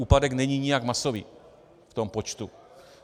Úpadek není nijak masový v tom počtu.